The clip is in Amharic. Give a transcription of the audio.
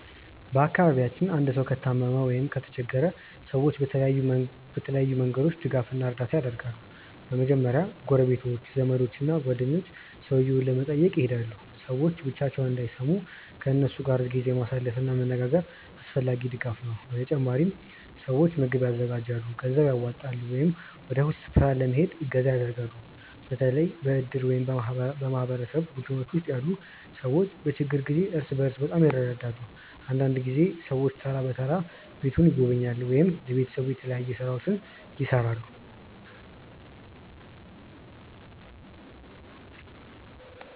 በአካባቢያችን አንድ ሰው ከታመመ ወይም ከተቸገረ ሰዎች በተለያዩ መንገዶች ድጋፍ እና እርዳታ ያደርጋሉ። በመጀመሪያ ጎረቤቶች፣ ዘመዶች እና ጓደኞች ሰውየውን ለመጠየቅ ይሄዳሉ። ሰዎች ብቻቸውን እንዳይሰሙ ከእነሱ ጋር ጊዜ ማሳለፍ እና መነጋገር አስፈላጊ ድጋፍ ነው። በተጨማሪም ሰዎች ምግብ ያዘጋጃሉ፣ ገንዘብ ያዋጣሉ ወይም ወደ ሆስፒታል ለመሄድ እገዛ ያደርጋሉ። በተለይ በእድር ወይም በማህበረሰብ ቡድኖች ውስጥ ያሉ ሰዎች በችግር ጊዜ እርስ በርስ በጣም ይረዳዳሉ። አንዳንድ ጊዜ ሰዎች ተራ በተራ ቤቱን ይጎበኛሉ ወይም ለቤተሰቡ የተለያዩ ሥራዎችን ይሠራሉ።